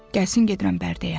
Gəlsin gedirəm Bərdəyə.